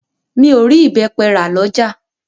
Mi o rí ìbẹ́pẹ rà lọ́jà.